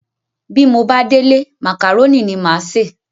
Bí mo bá délé màkàrónì ni màá se.